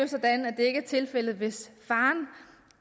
ikke er tilfældet hvis faren